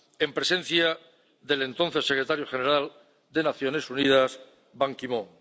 en presencia del entonces secretario general de las Naciones Unidas Ban Ki moon.